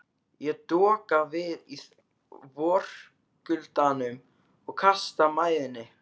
Ég doka við í vorkuldanum og kasta mæðinni.